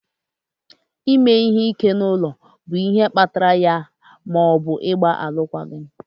ime ihe ike n'ụlọ bụ ihe kpatara ya ma ọ bụ ịgba alụkwaghịm.